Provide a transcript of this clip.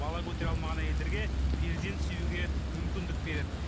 бала көтере алмаған әйелдерге перзент сүюге мүмкіндік береді